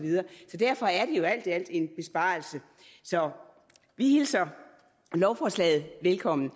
derfor er det jo alt i alt en besparelse så vi hilser lovforslaget velkommen